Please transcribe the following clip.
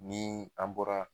Ni an bɔra